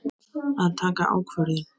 Að taka ákvörðun.